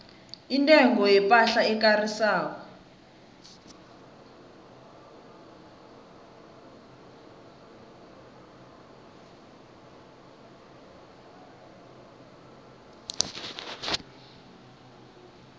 intengo yepahla ekarisako